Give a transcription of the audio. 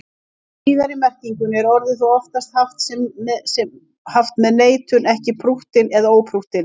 Í síðari merkingunni er orðið þó oftast haft með neitun, ekki prúttinn eða óprúttinn.